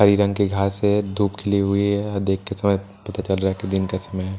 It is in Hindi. हरी रंग की घास है धूप खिली हुई है देख के समय पता चल रहा है कि दिन का समय है।